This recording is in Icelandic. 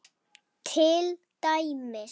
Til dæmis